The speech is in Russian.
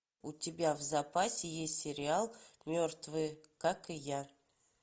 у тебя в запасе есть сериал мертвые как и я